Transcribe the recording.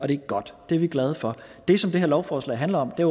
det er godt og det er vi glade for det som det her lovforslag handler om er